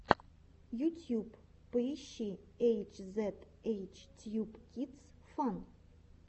ютьюб поищи эйч зед эйч тьюб кидс фан